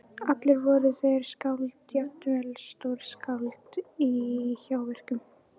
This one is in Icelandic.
Allir voru þeir skáld, jafnvel stórskáld- í hjáverkum.